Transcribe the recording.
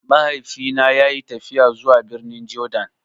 Mahaifi na ya yi tafiya zuwa birnin Jordan